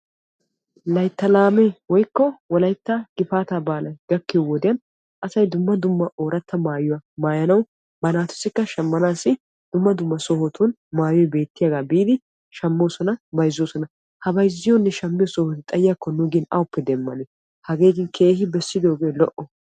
layttaa laamee woykko wolaytta gifaataa baalay gakkiyo wode asay dumma dumma ooratta maayuwa maayanawu ba naatussikka shamanaassi dumma dumma sohottun maayoy beettiyaaga biidi shamoosona bayzzoosona. ha bayzziyoonne shammiyo sohoy xayiyaakko nu gin awuppe demanee? hageeti bessidooge lo'o.